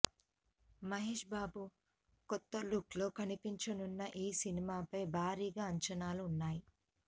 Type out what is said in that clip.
మహేష్ బాబు కొత్త లుక్లో కనిపించనున్న ఈ సినిమాపై భారీగా అంచనాలు ఉన్నాయి